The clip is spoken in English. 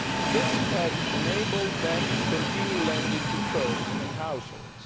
This has enabled them to continue lending to firms and households.